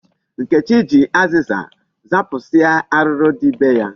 Nkechi ji azịza zapụsịa arụrụ dị be ya.